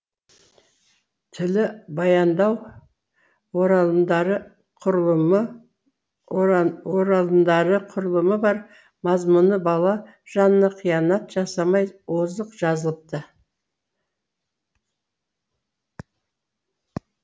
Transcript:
тілі баяндау оралымдары құрылымы бар мазмұны бала жанына қиянат жасамай озық жазылыпты